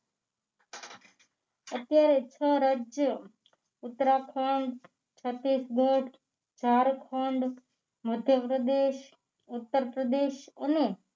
અત્યારે છ રાજ્યો ઉતરાખંડ છત્તીસગઢ ઝારખંડ મધ્યપ્રદેશ ઉત્તર પ્રદેશ અને